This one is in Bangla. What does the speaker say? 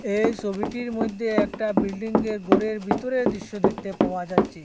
এই সবিটির মইধ্যে একটা বিল্ডিংয়ের ঘরের ভিতরের দৃশ্য দেখতে পাওয়া যাচ্ছে।